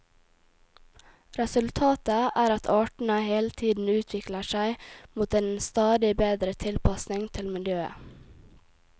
Resultatet er at artene hele tiden utvikler seg mot en stadig bedre tilpasning til miljøet.